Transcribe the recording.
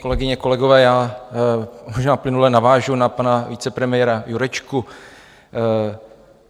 Kolegyně, kolegové, já možná plynule navážu na pana vicepremiéra Jurečku.